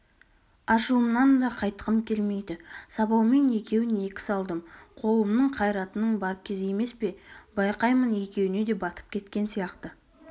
ашуымнан да қайтқым келмейді сабаумен екеуін екі салдым қолымның қайратының бар кезі емес пе байқаймын екеуіне де батып кеткен сияқты